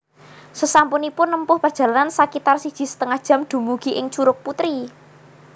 Sasampunipun nempuh perjalanan sakitar siji setengah jam dumugi ing Curug Putri